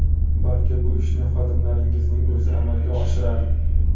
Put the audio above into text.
Balki bu ishni xodimlaringizning o‘zi amalga oshirar?